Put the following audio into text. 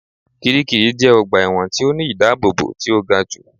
Kiríkirì jẹ́ ọgbà ẹ̀wọ̀n tí ó ní ìdábóbò tí ó ga jù